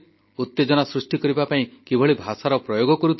ଉତେଜନା ସୃଷ୍ଟି କରିବା ପାଇଁ କିଭଳି ଭାଷାର ପ୍ରୟୋଗ କରୁଥିଲେ